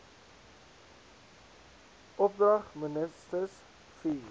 opdrag minstens vier